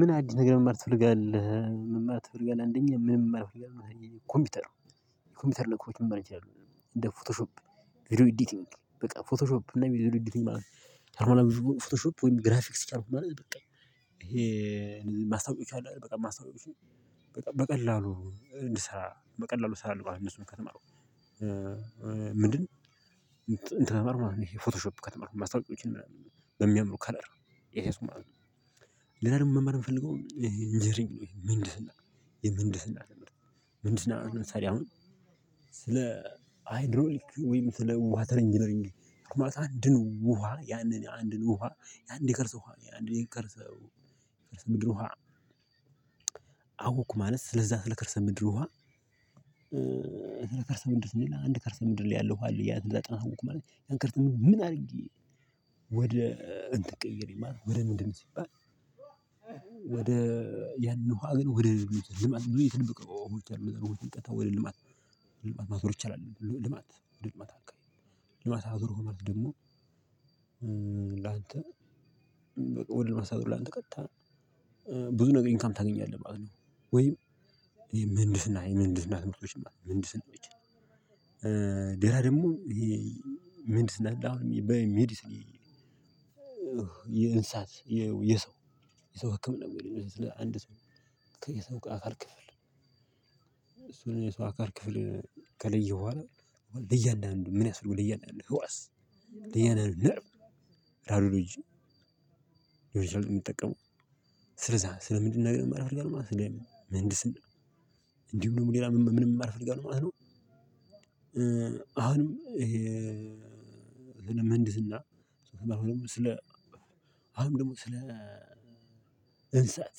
ምን? አዲስ ነገር መማር ትፍርጋለህ መማር ትፍርጋለህ አንደኛ ምን መማር ትፍርጋለህ ኮምፒውተር ነው። የኮምፒውተር ነኮች መማር እችላለሁ እንደ ፎቶሾፕ። ቪዲዮ ኤዲቲንግ በቃ ፎቶሾፕ እና ቪዲዮ ኤዲቲንግ ማለት ነው። ፎቶሾፕ ወይም ግራፊክስ ቻልኩ ማለት በቃ ይሄ። ማስታወቂያ አሉ አይደል በቃ ማስታወቂያ በጣም በቀላሉ እንድሰራ በቀላሉ እሰራለሁ ማለት ነው። እነሱን ከተማርኩ። ምንድን? እንተን ይሄ ፎቶሾፕ ከተማርኩ ማስታወቂያዎችን በሚያምሩ ከለር እያያዝኩ ማለት ነው። ለሌላ ደግሞ መማር የምፈልገው። እንጅነሪንግ የምንድህስና የምንድህስና ትምህርት ምንድህስና ለምሳሌ አሁን ስለ ሃይድሮሊክ ወይም ስለ ወተር እንጂነሪንግ አንድ ውሃ ያንን አንድን ውሃ አንድ የቀርስ ውሃ አንድን የቀርሰ ምድር ውሃ ከርሰ ምድር ውሃ። አውቅ ማለት ስለዛ ስለ ከርሰ ምድር ውሃ። ስለ ከርሰ ምድር ስንል አንድ ከርሰ ምድር ላይ ያለው ውሃ አለ። ያንን አወኩ ማለት ያን ከርሰ ም ድር ምን አድርጌ። ወደ እንትን ቀይሬ ማለት ነው ወደ ምንድን ሲባል። ወደ እንተን ቀይሬ ያንን ውሃ ግን ወደ ልማት ብዙ የተደበቀ ውሃዎች አሉ እነዛን ውሃው ቀጥታ ወደ ልማት ማዞር ይቻላል። ሆኖ ደግሞ ላንተ። ወደ ማሳደግ ላንተ ቀጥታ ብዙ ነገር ኢንካም ታገኛለህ ማለት ነው። ወይም ምንድህስና ምንድንስና ትምህርቶች ምንድንስና። ሌላ ደግሞ ምንድህስና በሜዲስን። ይሄ እንስሳት የሰው ህክምና ለአንድ ሰው ከሰው አካል ክፍል እሱ የሰው አካል ክፍል ከለየው በኋላ ለእያንዳንዱ ምን ያሰፈልገዋል ለእያንዳንዱ ህዋስ ለእያንዳንዱ ነርቨ ራሮሎጅ። ሊሆን ይችላል የምጠቀመው። ስለዛ ስለ ምንድነው ነገር የማ መማር እፈልጋለሁ ማለት ነው። ስለ ምህንድስና። እንዲሁም ደግሞ ሌላ ምን መማር አል እፈልጋለሁ ማለት ነው። አሁንም። ይሄ ለመንድስ ህና ስለ አሁን ደግሞ ስለ እንስሳት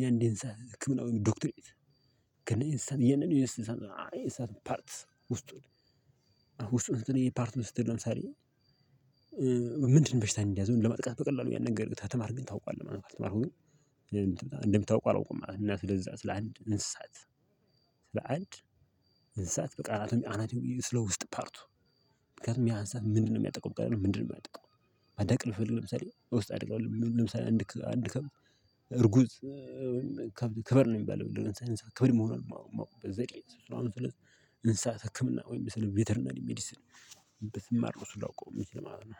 የአንድ እንስሳት ህክምና ወይም ዶክተሬት። ያነን የእንስሳት ፓርት ውስጡን ውስጡን ፓርት ስትል ነው ምሳሌ። ምንድን በሽታ እንደያዘው ለመጥቃት በቀላሉ ያን ነገር ግን ከተማርክ ታውቃለህ ማለት ነው። ካልተማርኩ ግን እንደምታውቀው አላውቁም ማለት ነው። እና ስለዛ ስለ አንድ እንስሳት ስለ አንድ እንስሳት በቃ አናት ይሁን ስለ ውስጥ ፓርቱ። ያንን ውሃ ግን ወደ ልማት ብዙ የተደበቀ ውሃዎች አሉ እነዛን ውሃው ቀጥታ ወደ ልማት ማዞር ይቻላል። ክብር ነው የሚባለው ክብር ክብር መሆኑን ማወቅ እንስሳት ህክምና ወይም ስለ ቬተርናሊ ሜዲስን። በትማር ብዙ ላውቀው ምችል ማለት ነው።